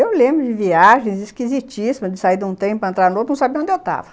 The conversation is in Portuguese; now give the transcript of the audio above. Eu lembro de viagens esquisitíssimas, de sair de um tempo, entrar em outro, não sabia onde eu estava.